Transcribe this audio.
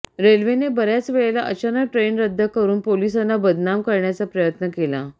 रेल्वेने बर्याच वेळेला अचानक ट्रेन रद्द करून पोलिसांना बदनाम करण्याचा प्रयत्न केला